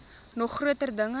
nog groter dinge